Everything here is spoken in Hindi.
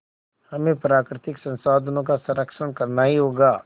हमें प्राकृतिक संसाधनों का संरक्षण करना ही होगा